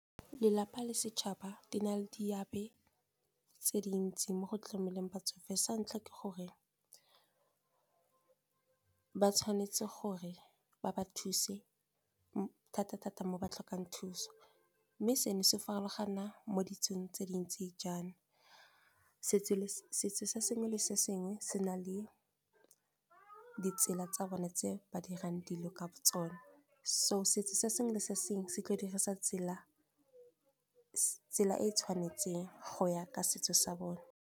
Lelapa le setšhaba di na le di abe tse dintsi, mo go tlameleng batsofe. Sa ntlha ke gore ba tshwanetse gore ba ba thuse thata-thata mo ba tlhokang thuso. Mme seno se farologana mo ditsong tse dintsi jaana, setso se sengwe le sengwe se na le ditsela tsa bone tse ba dirang dilo ka tsone. So setso se sengwe le sengwe se tla dirisa tsela e e tshwanetseng go ya ka setso sa bone.